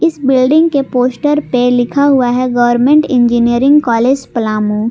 इस बिल्डिंग के पोस्टर पे लिखा हुआ है गवर्नमेंट इंजीनियरिंग कॉलेज पलामू।